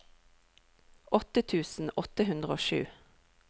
åtte tusen åtte hundre og sju